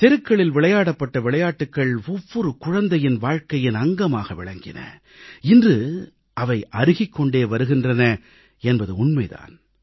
தெருக்களில் விளையாடப்பட்ட விளையாட்டுகள் ஒவ்வொரு குழந்தையின் வாழ்க்கையின் அங்கமாக விளங்கின இவை இன்று அருகிக் கொண்டே வருகின்றன என்பது உண்மை தான்